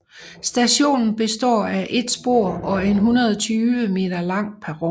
Stationen består af et spor og en 120 m lang perron